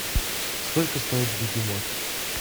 сколько стоит бегемот